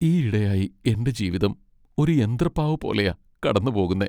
ഈയിടെയായി എന്റെ ജീവിതം ഒരു യന്ത്രപ്പാവ പോലെയാ കടന്നുപോകുന്നെ.